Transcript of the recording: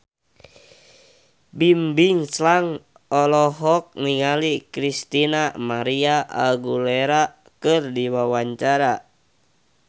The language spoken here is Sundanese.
Bimbim Slank olohok ningali Christina María Aguilera keur diwawancara